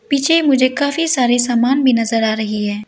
पीछे मुझे काफी सारे सामान भी नजर आ रहे हैं।